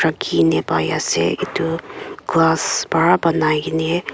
raki na pai ase etu glass para banai kene.